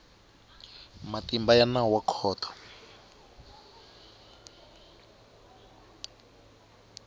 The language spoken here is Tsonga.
matimba ya nawu ya khoto